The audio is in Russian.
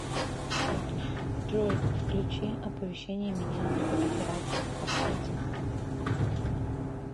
джой включи оповещение меня об операциях по карте